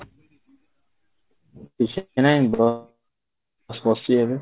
କିଛି ନାହିଁ ବସିଛି ଏବେ